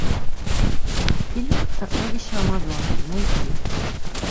фильм сокровища амазонки найти